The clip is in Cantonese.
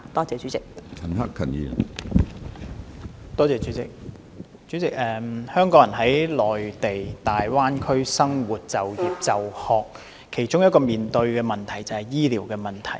主席，香港人在大灣區生活、就業、就學，其中一個需要面對的問題便是醫療。